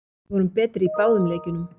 Við vorum betri í báðum leikjunum